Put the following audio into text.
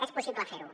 és possible fer ho